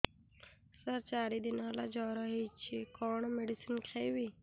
ସାର ଚାରି ଦିନ ହେଲା ଜ୍ଵର ହେଇଚି କଣ ମେଡିସିନ ଖାଇବି